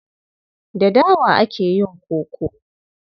Da dawa ake yin koko.